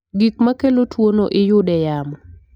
Gik makelo tuwo no iyude yamo